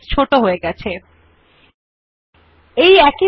এখন font size ক্ষেত্রের নিম্নমুখী তীর এ ক্লিক করে ১১ এর উপর ক্লিক করুন